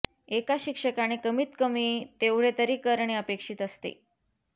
एका शिक्षकाने कमीत कमी तेवढे तरी करणे अपेक्षित असते